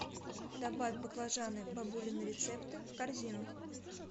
добавь баклажаны бабулины рецепты в корзину